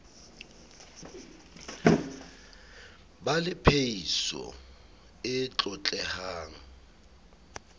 ba le phehiso e tlotlehang